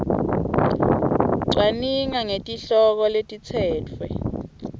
cwaninga ngetihloko letitsetfwe